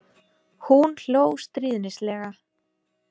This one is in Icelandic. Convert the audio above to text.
Hún hló stríðnislega.